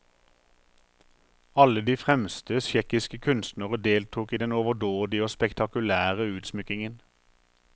Alle de fremste tsjekkiske kunstnere deltok i den overdådige og spektakulære utsmykkingen.